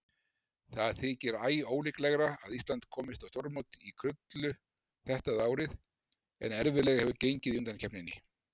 Það þykir æólíklegra að Ísland komist á stórmót í krullu þetta árið en erfiðlega hefur gengið í undankeppninni.